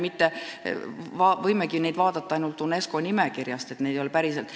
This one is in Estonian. Me võimegi neid vaadata ainult UNESCO nimekirjast, neid ei ole päriselt.